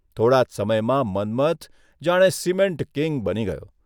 થોડા જ સમયમાં મન્મથ જાણે ' સિમેન્ટ કંગ ' બની ગયો.